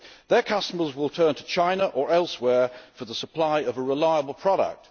Their customers will turn to China or elsewhere for the supply of a reliable product.